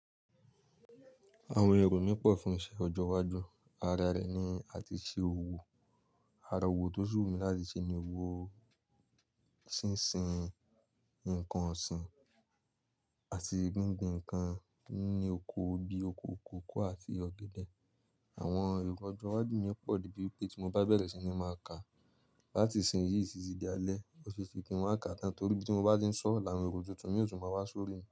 Àwọn èrò mí pọ̀ fún iṣẹ́ ọjọ́ iwájú. Ara rẹ̀ ni àti ṣe òwò, ara òwò tó si wúmi láti ṣe ni òwò ṣínṣin ǹnkan ọ̀sìn àti gbíngbin ǹnkan ní oko bíi oko kòkó àti ọ̀gẹ̀dẹ̀. Àwọn èrò ọjọ́ iwájú mi ó pọ̀ di bí pé tí mo bá bẹ̀rẹ̀ sí ní máa ka láti ìsìn yìí títí di alẹ́, ọ́sese kí n máa kà tán torí bí mo bá ti ń sọ̀, làwon èrò tuntun mi yóò tún máa wá sórí mi.